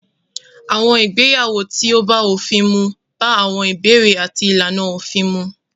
Àwọn ìgbéyàwó tí ó bá òfin mu bá àwọn ìbéèrè àti ìlànà òfin mu.